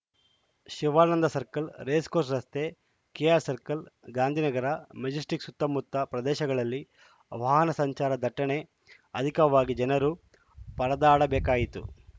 Shivananda Circle racecourse ರಸ್ತೆ K R circle Gandhinagar Majestic ಸುತ್ತಮುತ್ತ ಪ್ರದೇಶಗಳಲ್ಲಿ ವಾಹನ ಸಂಚಾರ ದಟ್ಟಣೆ ಅಧಿಕವಾಗಿ ಜನರು ಪರದಾಡಬೇಕಾಯಿತು